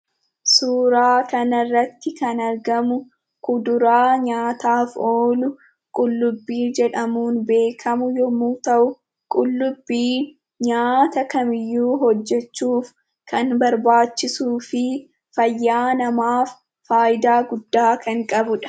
Suuraa kanarratti kan argamu, kuduraa nyaata oolu qullubbii jedhamuun beekkamu, yommuu ta'u, qullubbiin nyaata kamiyyuu hojjachuuf kan barbaachisuufi fayyaa namaaf fayidaa guddaa kan qabudha.